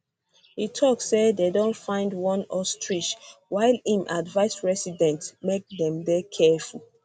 e tok say dem don find one ostrich while im advise residents make dem dey careful